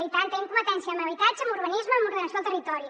i tant tenim competència en habitatge en urbanisme en ordenació del territori